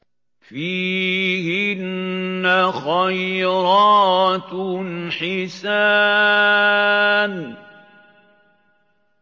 فِيهِنَّ خَيْرَاتٌ حِسَانٌ